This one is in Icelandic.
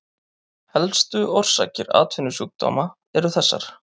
Helstu orsakir atvinnusjúkdóma eru þessar